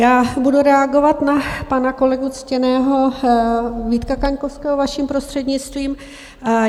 Já budu reagovat na pana kolegu ctěného Vítka Kaňkovského, vaším prostřednictvím.